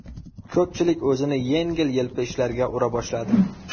Ko‘pchilik o‘zini yengil-yelpi ishlarga ura boshladi.